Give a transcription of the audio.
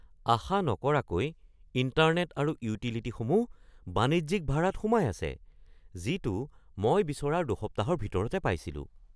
আশা নকৰাকৈ ইণ্টাৰনেট আৰু ইউটিলিটিসমূহ বাণিজ্যিক ভাৰাত সোমাই আছে যিটো মই বিচৰাৰ দুসপ্তাহৰ ভিতৰতে পাইছিলো।